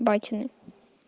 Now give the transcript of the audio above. батины